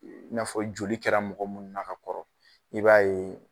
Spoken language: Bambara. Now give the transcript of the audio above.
i n'a fɔ joli kɛra mɔgɔ mun na ka kɔrɔ i b'a ye